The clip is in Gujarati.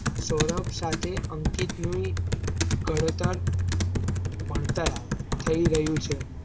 સૌરભ સાથે અંકિતની ઘડતર ભણતર આવે થઈ રહ્યું છે.